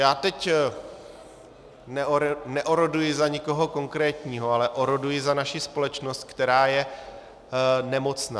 Já teď neoroduji za nikoho konkrétního, ale oroduji za naši společnost, která je nemocná.